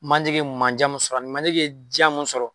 Manje ye mandiya min sɔrɔ manje diya mun sɔrɔ